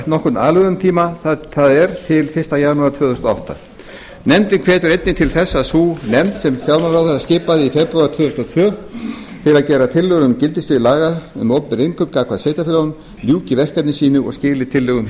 nokkurn aðlögunartíma það er til fyrsta janúar tvö þúsund og átta nefndin hvetur einnig til þess að sú nefnd sem fjármálaráðherra skipaði í febrúar tvö þúsund og tvö til að gera tillögur um gildissvið laga um opinber innkaup gagnvart sveitarfélögunum ljúki verkefni sínu og skili tillögum